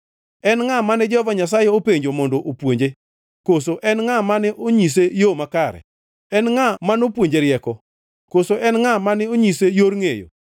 En ngʼa mane Jehova Nyasaye openjo mondo opuonje, koso en ngʼa mane onyise yo makare? En ngʼa ma nopuonje rieko koso en ngʼa mane onyise yor ngʼeyo?